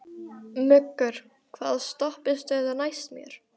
Muggur, hvaða stoppistöð er næst mér?